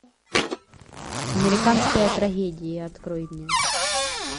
американская трагедия открой мне